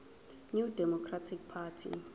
new democratic party